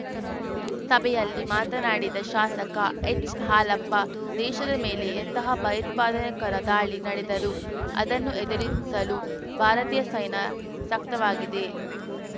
ಸಭೆಯಲ್ಲಿ ಮಾತನಾಡಿದ ಶಾಸಕ ಎಚ್‌ಹಾಲಪ್ಪ ದೇಶದ ಮೇಲೆ ಎಂತಹ ಭಯೋತ್ಪಾದೆನೆಕರ ದಾಳಿ ನಡೆದರೂ ಅದನ್ನು ಎದುರಿಸಲು ಭಾರತೀಯ ಸೈನ್ಯ ಸಕ್ತವಾಗಿದೆ